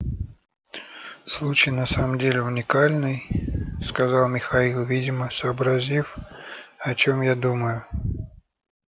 случай на самом деле уникальный сказал михаил видимо сообразив о чем я думаю